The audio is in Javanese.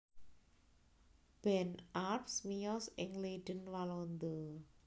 Ben Arps miyos ing Leiden Walanda